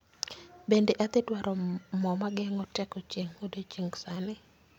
Bende adhi dwaro mo mageng'o teko chieng' odiechieng' sani